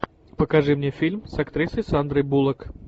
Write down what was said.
покажи мне фильм с актрисой сандрой буллок